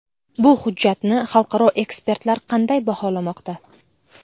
Bu hujjatni xalqaro ekspertlar qanday baholamoqda?